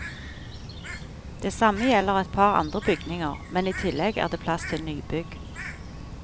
Det samme gjelder et par andre bygninger, men i tillegg er det plass til nybygg.